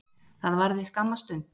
Það varði skamma stund